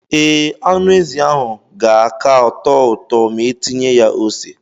Ee, anụ ezi ahụ ga-aka tọọ ụtọ ma etinye ya ose.